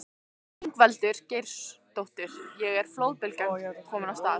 Ingveldur Geirsdóttir: Og er flóðbylgjan komin af stað?